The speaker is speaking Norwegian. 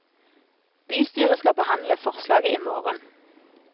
Bystyret skal behandle forslaget i morgen.